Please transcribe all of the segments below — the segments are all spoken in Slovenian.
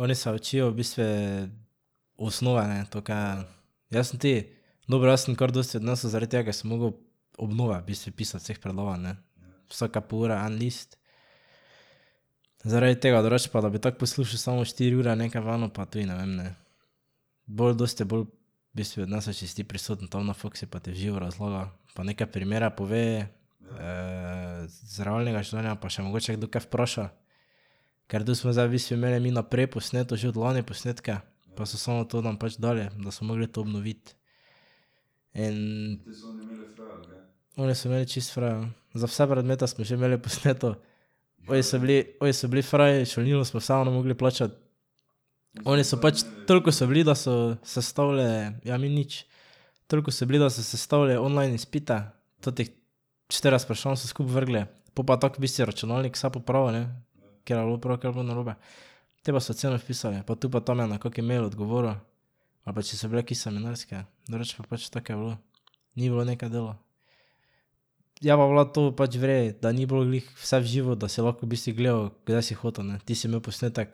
Oni se učijo v bistvu osnove, ne, to kaj je ... Jaz sem tudi dobro, jaz sem kar dosti odnesel zaradi tega, ker sem moral obnove v bistvu pisati vseh predavanj, ne. Vsake pol ure en list. Zaradi tega, drugače pa, da bi tako poslušal samo štiri ure nekaj v eno, pa tudi ne vem, ne. Bolj, dosti bolj v bistvu odneseš, če si ti prisoten tam na faksu pa ti v živo razlaga pa neke primere pove iz realnega življenja pa še mogoče kdo kaj vpraša. Ker tu smo zdaj v bistvu imeli mi naprej posneto, že od lani posnetke pa so samo to nam pač dali, da smo morali to obnoviti. In Oni so imeli čisto fraj, ja. Za vse predmete smo že imeli posneto. Ovi so bili, ovi so bili fraj, šolnino smo vseeno morali plačati. Oni so pač, toliko so bili, da so sestavili, ja mi nič. Toliko so bili, da so sestavili online izpite totih štirideset vprašanj so skupaj vrgli, po pa tako v bistvu je računalnik vse popravil, ne. Katero je bilo prav, katero pa narobe. Te pa so ocene vpisali pa tu pa tam je na kak mejl odgovoril. Ali pa če so bile kje seminarske, drugače pa pač tako je bilo. Ni bilo nekaj dela. Je pa bila to pač v redu, da ni bilo glih vse v živo, da si lahko v bistvu gledal, kdaj si hotel, ne, ti si imel posnetek,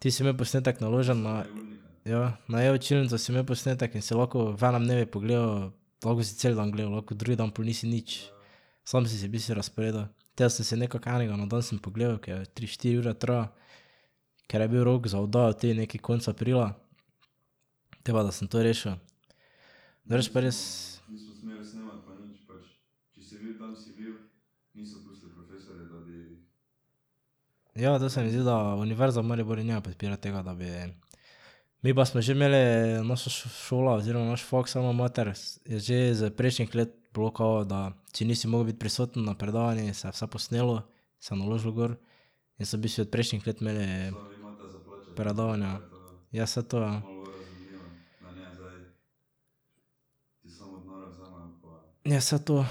ti si imel posnetek naložen na, ja, na e-učilnico si imel posnetek in si lahko v enem dnevu pogledal, lahko si cel dan gledal, lahko drugi dan pol nisi nič. Samo si si v bistvu razporedil, te sem si nekako enega na dan sem si pogledal, ker tri, štiri ure traja. Ker je bil rok za oddajo tudi neki konec aprila. Te pa da sem to rešil. Drugače pa res. Ja, to se mi zdi, da Univerza v Mariboru ne podpira tega, da bi ... Mi pa smo že imeli naš šola oziroma naš faks Alma Mater je že iz prejšnjih let bilo kao da, če nisi mogel biti prisoten na predavanju, se je vse posnelo, se naložilo gor in so v bistvu od prejšnjih let imeli predavanja. Ja, saj to ja. Ja, saj to.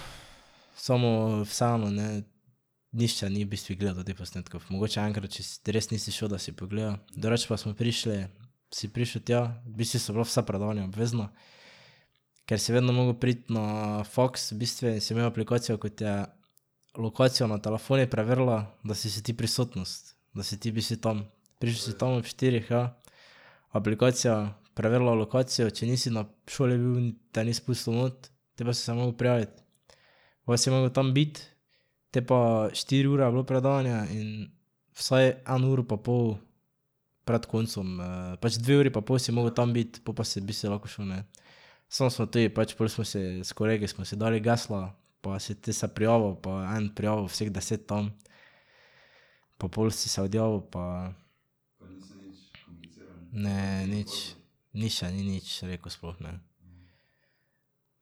Samo vseeno, ne, nihče ni v bistvu gledal teh posnetkov, mogoče enkrat, če res nisi šel, da si pogledal, drugače pa smo prišli, si prišel tja, v bistvu so bila vsa predavanja obvezna, ker si vedno moral priti na faks, v bistvu si imel aplikacijo, ko ti je lokacijo na telefonu preverila, da si si ti prisotnost, da si ti v bistvu tam, prišel si tam ob štirih, ja, aplikacija preverila lokacijo, če nisi na šoli bil, te ni spustilo not te pa si se moral prijaviti. Po pa si moral tam biti. Te pa štiri ure je bilo predavanje in vsaj eno uro pa pol pred koncem, pač dve uri pa pol si moral tam biti, pol pa si v bistvu lahko šel, ne. Samo smo tudi pač pol smo si, s kolegi smo si dali gesla pa si te se prijavil pa je en prijavil vseh deset tam. Pa pol si se odjavil pa ... Ne, nič. Nihče ni nič rekel sploh, ne.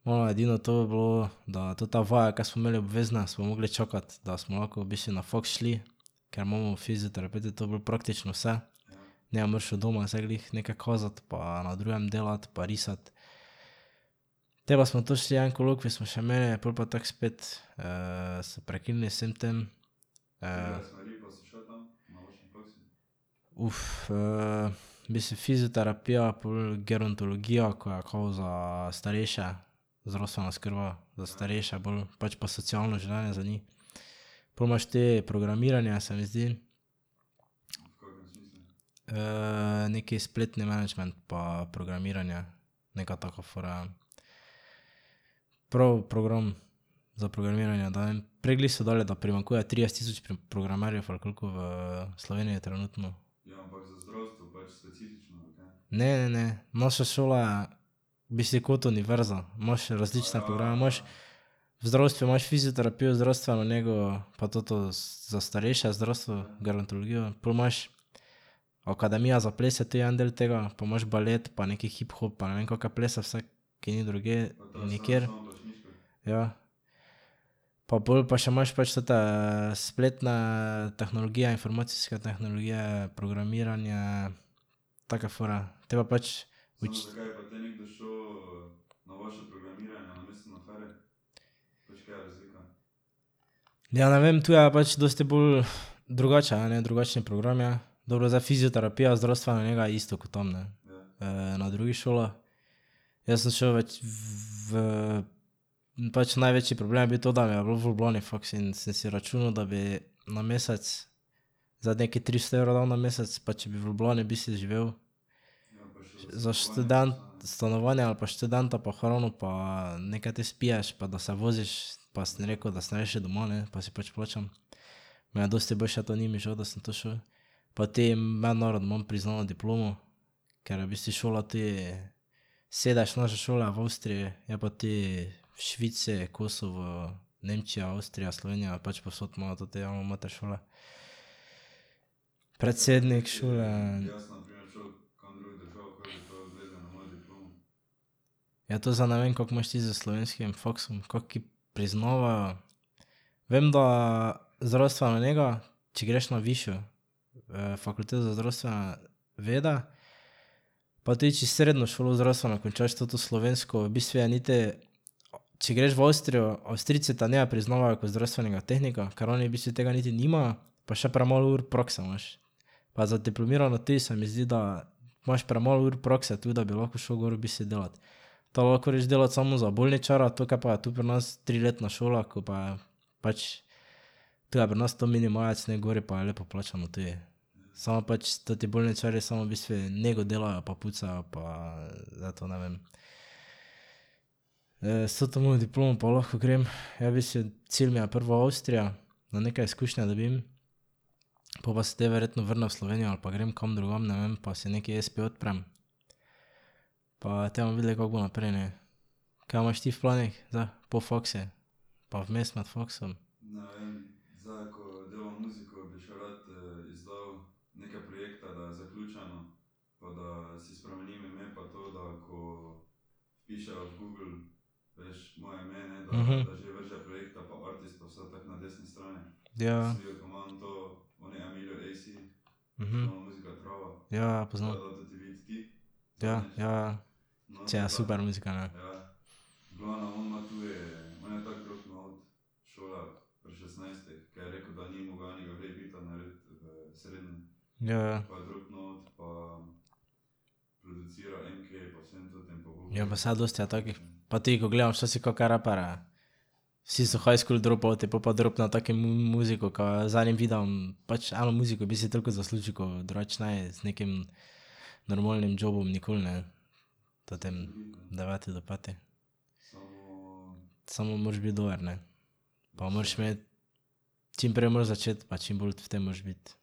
Malo je edino to bilo, da tota vaja, ki smo imeli obvezne, smo morali čakati, da smo lahko v bistvu na faks šli. Ker imamo fizioterapevti to bolj praktično vse. Ne moreš od doma zdaj glih nekaj kazati pa na drugem delati pa risati. Te pa smo to šli, en kolokvij smo še imeli, pol pa tako spet so prekinili z vsem tem. v bistvu fizioterapija, pol gerontologija, ko je kao za starejše, zdravstvena oskrba za starejše bolj pač pa socialno življenje za njih. Pol imaš tudi programiranje, se mi zdi. neki spletni menedžment pa programiranje, neka taka fora je. Prav program za programiranje, ne vem, prej glih so dali, da primanjkuje trideset tisoč programerjev ali koliko v Sloveniji trenutno. Ne, ne, ne. Naša šola je v bistvu kot univerza, imaš različne programe, imaš v zdravstvu imaš fizioterapijo, zdravstveno nego pa to za starejše zdravstvo, gerontologijo, pol imaš akademija za ples je tudi en del tega, pa imaš balet pa neki hip hop pa ne vem kake plese vse, ki ni drugje nikjer, ja. Pa pol pa še imaš pač tote spletne tehnologije, informacijske tehnologije, programiranje, take fore. Te pa pač Ja, ne vem, to je pač dosti bolj drugače je, ne, drugačni program je. Dobro zdaj fizioterapija, zdravstvena nega je isto ko tam, ne, na drugih šolah. Jaz sem šel v pač največji problem je bil to, da mi je bilo v Ljubljani faks, in sem si računal, da bi na mesec zdaj nekaj tristo evrov dal na mesec, pa če bi v Ljubljani v bistvu živel, za stanovanje ali pa študenta pa hrano pa nekaj te spiješ pa da se voziš, pa sem rekel, da sem rajši doma, ne, pa si pač plačam. Meni je dosti boljše to, ni mi žal, da sem to šel. Pa te mednarodno imam priznano diplomo. Ker je v bistvu šola tudi, sedež naše šole je v Avstriji, je pa tudi v Švici, Kosovo, Nemčija, Avstrija, Slovenija, pač povsod imajo tote Alma Mater šole. Predsednik šole. Ja, to zdaj ne vem, kako imaš ti s slovenskim faksom, kak priznavajo, vem, da zdravstvena nega, če greš na višjo fakulteto za zdravstvene vede pa tudi če srednjo šolo zdravstveno končaš toto slovensko, v bistvu je niti, če greš v Avstrijo, Avstrijci te ne priznavajo kot zdravstvenega tehnika, ker oni v bistvu tega niti nimajo, pa še premalo ur prakse imaš. Pa za diplomirano tudi, se mi zdi, da imaš premalo ur prakse tu, da bi lahko šel gor v bistvu delat. Tako da lahko greš delat samo za bolničarja, to, kar pa je tu pri nas triletna šola, ko pa je, pač tu je pri nas to minimalec ne, gori pa je lepo plačano tudi. Samo pač toti bolničarji samo v bistvu nego delajo pa pucajo pa to, ne vem. s toto mojo diplomo pa lahko grem, ja v bistvu, cilj mi je prvo Avstrija, da neke izkušnje dobim. Po pa se te verjetno vrnem v Slovenijo ali pa grem kam drugam, ne vem, pa si neki espe odprem. Pa te bomo videli, kako bo naprej, ne. Kaj imaš ti v planih zdaj po faksu? Pa vmes med faksom? Ja, ja. ja, ja, poznam. Ja, ja, super muzika, ne. Ja, ja. Ja, pa saj dosti je takih, pa tudi, ko gledam včasih kake raperje. Vsi so high school dropouti, pol pa dropne tako muziko, kaj z enim videom pač eno muziko v bistvu toliko zasluži, ko drugače ne bi z nekim normalnim jobom nikoli, ne. Tem deveti do peti Samo moraš biti dober, ne. Pa moraš imeti, čim prej moraš začeti pa čim bolj v tem moraš biti,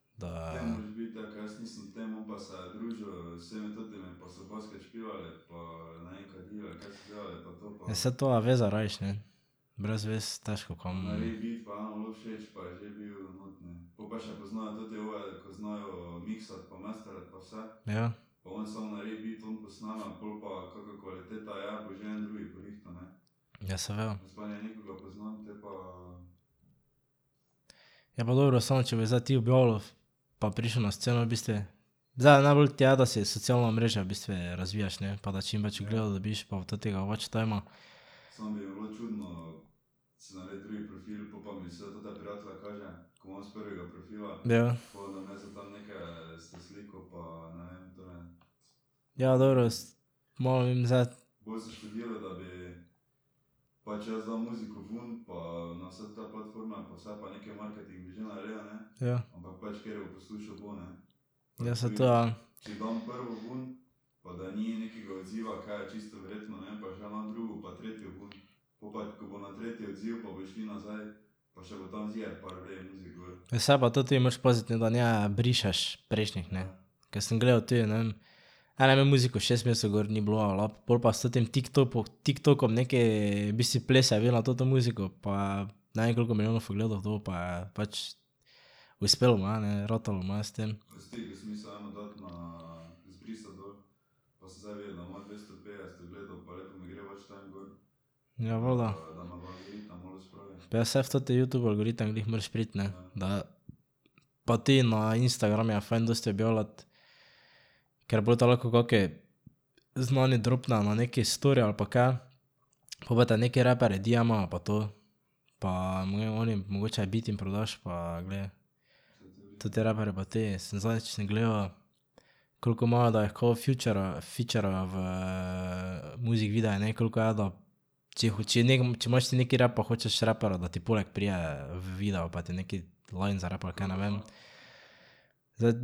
da ... Ja, saj to, ja, veze rabiš, ne. Brez vez težko kam. Ja. Ja, pa dobro, samo če bi zdaj ti objavljal pa prišel na sceno v bistvu, zdaj najbolj ti je, da si socialna omrežja v bistvu razviješ, ne, pa da čim več ogledov dobiš pa tega watch tima. Ja. Ja, dobro malo vem zdaj ... Ja. Ja, saj to ja. Ja, saj pa to tudi moraš paziti, da ne brišeš prejšnjih, ne. Ker sem gledal tudi, ne vem, en je imel muziko šest mesecev gor ni bilo alap, pol pa s tem TikTopo, TikTokom neke v bistvu plese je imel na toto muziko pa je ne vem, koliko milijonov ogledov dobil, pa je pač, uspelo mu je, ne, ratalo mu je s tem. Ja, valjda. Pa ja, saj v ta Youtube algoritem glih moraš priti, ne, da pa tudi na Instagramu je fajn dosti objavljati, ker pol te lahko kaki znani dropnejo na neki story ali pa kaj, pol pa te neki raper diema pa to. Pa imajo oni, mogoče beat jim prodaš, pa glej. Toti reperji pa tudi, sem zadnjič, sem gledal koliko imajo, da jih kao featura, featura v music videe, ne, koliko je, da če če če imaš ti neki rap pa hočeš raperja, da ti poleg pride v video pa ti neki line zarepa ali kaj, ne vem. Zdaj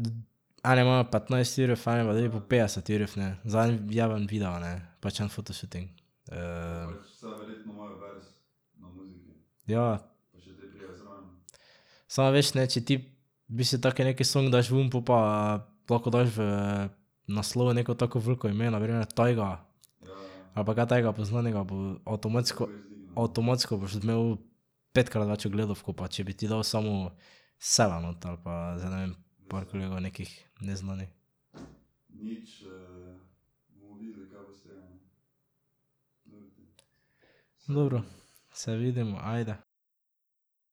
eni imajo petnajst jurjev, eni pa tudi po petdeset jurjev, ne. Za en vjeban video, ne, pač en photoshooting. Ja. Samo veš, ne, če ti v bistvu tak neki song daš ven, po pa lahko daš v naslov neko tako veliko ime, na primer Tyga, ali pa kaj takega poznanega, bo avtomatsko, avtomatsko boš imel petkrat več ogledov, ko pa če bi ti dal samo Sela noter ali pa zdaj ne vem, par kolegov nekih neznanih. Dobro, se vidimo, ajde.